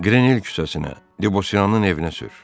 Qrenil küçəsinə, Debosyanın evinə sür.